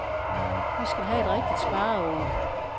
Vi skal have et rigtigt spareår.